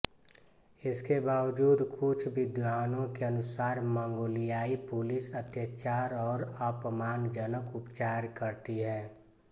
इसके बावजूद कुछ विद्वानों के अनुसार मंगोलियाई पुलिस अत्याचार और अपमानजनक उपचार करती है